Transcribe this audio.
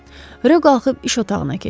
Ro qalxıb iş otağına keçdi.